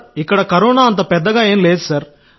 ఇక్కడ కరోనా పెద్దగా ఏమీ లేదు సార్